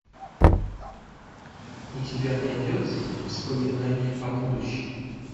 у тебя найдется воспоминание о будущем